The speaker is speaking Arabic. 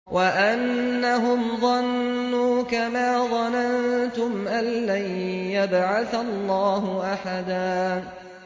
وَأَنَّهُمْ ظَنُّوا كَمَا ظَنَنتُمْ أَن لَّن يَبْعَثَ اللَّهُ أَحَدًا